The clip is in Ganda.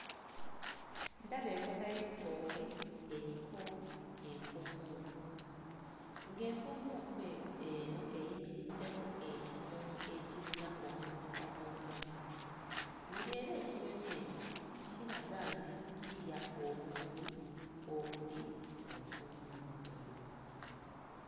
Ndaba enkota y'ettooke eriko empumumpu, ng'empumumpu eko eno eyimiriddeko ekinyonyi ekirina omumwa omuwanvu; ng'era ekinyonyi ekyo kiraga nti kirya obumuli obuli ku mpumumpu eyo.